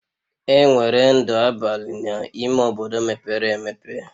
Enwere ndụ abalị n'ime obodo mepere emepe